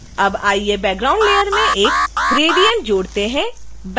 अब आइए background layer में एक gradient जोड़ते हैं